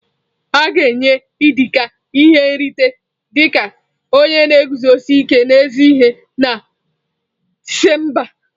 A ga-enye Idika ihe nrite dị ka onye na-eguzosi ike n'ezi ihe na Disemba a.